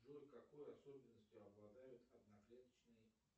джой какой особенностью обладают одноклеточные